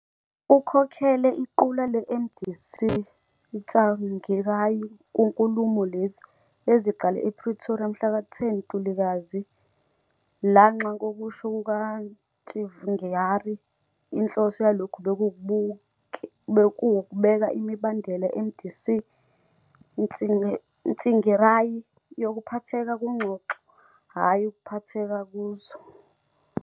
Ukhokhele iqula leMDC-Tsvangirai kunkulumo lezi, eziqale ePretoria mhlaka 10 Ntulikazi, lanxa ngokusho kukaTsvangirai inhloso yalokhu bekuwukubeka imibandela yeMDC-Tsvangirai yokuphatheka kungxoxo, hatshi ukuphatheka kuzo.